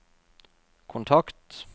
kontakt